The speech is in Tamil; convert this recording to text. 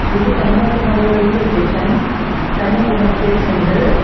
இது Kanyakumari railway station Kanyakumari station இது.